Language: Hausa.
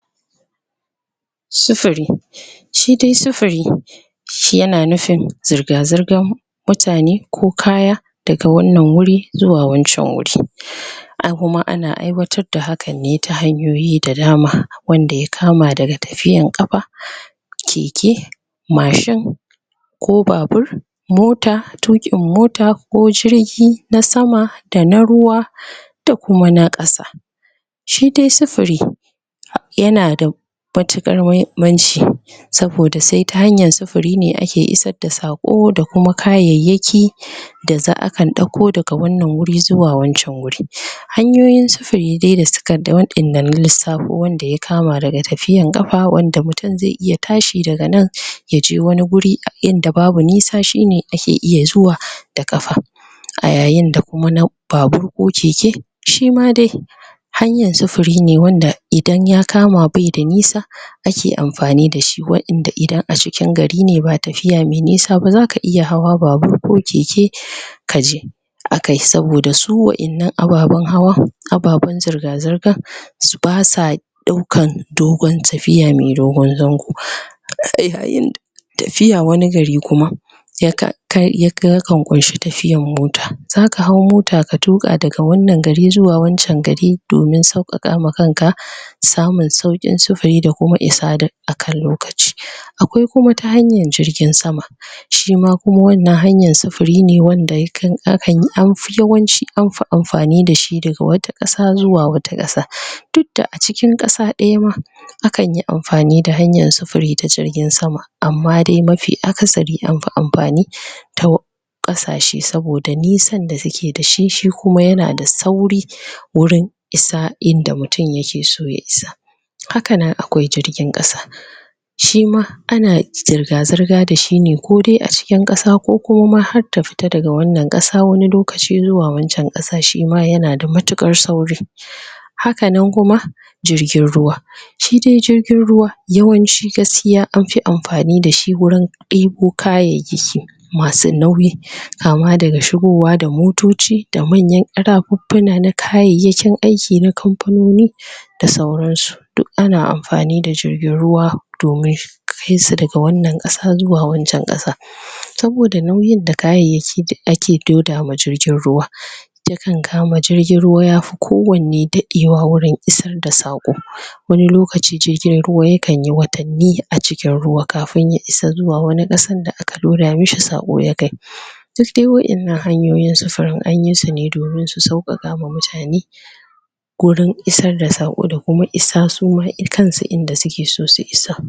Sufuri shi dai sufuri shi yana nufin zirga-zirgan mutane ko kaya daga wannan wuri, zuwa wancan wuri? ai kuma ana aiwatar da hakan ne ta hanyoyi da dama wanda ya kama daga tafiyan ƙafa? keke, mashin ko babur mota, tuƙin mota ko jirgi na sama da na ruwa? da kuma na ƙasa shi dai sufuri yanada matuƙar mahimmanci saboda sai ta hanyar sufuri ne ake isar da saƙo da kuma kayayyaki? da za akan ɗauko daga wannan wuri zuwa wancan wuri? hanyoyin sufuri dai da suka da waƴanda na lissafo, wanda ya kama daga tafiyan ƙafa, wanda mutum zai iya tashi daga nan? yaje wani guri inda babu nisa shine ake iya zuwa da ƙafa a yayin da kuma na babur ko keke shima dai hanyar sufuri ne wanda idan ya kama bai da nisa? ake amfani dashi waƴanda idan a cikin gari ne ba tafiya me nisa ba zaka iya hawa babur ko keke? kaje akai, saboda su waƴannan ababan hawa ababan zirga-zirga? s? basa ɗaukan dogon tafiya, me dogon zango?? yayin? tafiya wani gari kuma yaka kai ya yakan ƙunshi tafiyan mota zaka hau mota ka tuƙa daga wannan gari zuwa wancan gari domin sauƙaƙa ma kanka? samun sauƙin sufuri da kuma isa da akan lokaci? akwai kuma ta hanyan jirgin sama? shima kuma wannan hanyan sufuri ne wanda yakan, akan, anfi yawanci anfi amfani dashi daga wata ƙasa zuwa wata ƙasa? duk da a cikin ƙasa ɗaya ma akan yi amfani da hanyan sufuri ta jirgin sama amma dai mafi akasari anfi amfani? ta ƙasashe, saboda nisan da suke dashi, shi kuma yana da sauri? wurin isa inda mutum yakeso ya isa hakanan akwai jirgin ƙasa shima ana zirga-zirga dashi ne ko dai a cikin ƙasa ko kuma ma har ta fita daga wannan ƙasa wani lokaci zuwa wancan ƙasan. Shima yanada mutuƙar sauri? hakanan kuma jirgin ruwa shi dai jirgin ruwa yawanci gaskiya anfi amfani dashi wurin ɗebo kayayyaki masu nauyi kama daga shigowa da motoci, da manyan ƙarafuffuna na kayayyakin aiki na kamfanoni? da sauran su duk ana amfani da jirgin ruwa domin kaisu daga wannan ƙasa zuwa wancan ƙasa? saboda nauyin da kayayyaki da ake loda ma jirgin ruwa? yakan kama jirgin ruwa yafi kowanne daɗewa wurin isar da saƙo? wani lokacin jirgin ruwa yakan yi watanni a cikin ruwa kafin ya isa zuwa wani ƙasan da aka loda mishi saƙo ya kai? duk dai waƴannan hanyoyin sufurin anyi sune domin su sauƙaƙa ma mutane gurin isar da saƙo da kuma isa suma i kansu inda suke so su isa